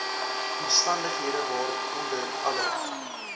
omstandighede waaronder alle